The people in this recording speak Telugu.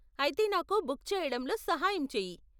ఆయితే నాకు బుక్ చెయ్యడంలో సహాయం చెయ్యి.